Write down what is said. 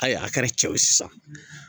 Ayi a kɛra cɛ ye sisan